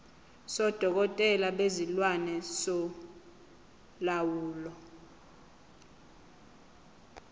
sodokotela bezilwane solawulo